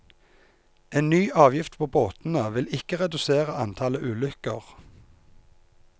En ny avgift på båtene vil ikke redusere antallet ulykker.